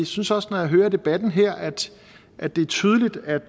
synes også når jeg hører debatten her at det er tydeligt at